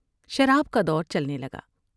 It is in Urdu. شراب کا دور چلنے لگا ۔